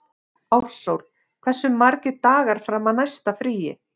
Ársól, hversu margir dagar fram að næsta fríi?